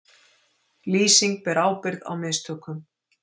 Lýsing ber ábyrgð á mistökum